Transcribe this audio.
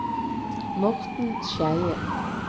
Morten Skeie